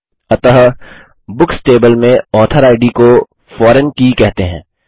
अतः books table में author इद को फॉरेन की कहते हैं